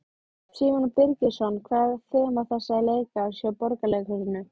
Símon Birgisson: Hvað er þema þessa leikárs hjá Borgarleikhúsinu?